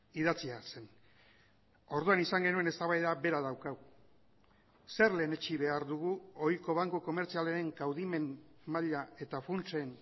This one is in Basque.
idatzia zen orduan izan genuen eztabaida bera daukagu zer lehenetsi behar dugu ohiko banku komertzialen kaudimen maila eta funtsen